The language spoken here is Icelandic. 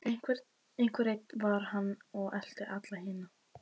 Einhver einn var hann og elti alla hina.